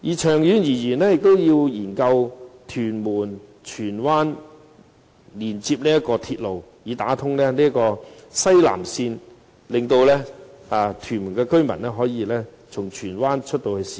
長遠而言，亦要研究連接屯門和荃灣的鐵路，以打通西南線，使屯門居民可以從荃灣進入市區。